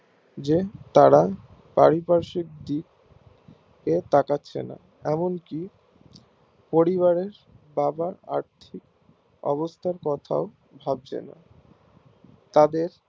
যে তারা পারিপার্শিক টি তে তাকাচ্ছে না এমন কি পরিবারের আংশিক অবস্থান কোথায়ও থাকছে না তাদের